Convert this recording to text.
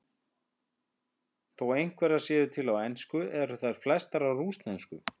Þó einhverjar séu til á ensku eru þær flestar á rússnesku.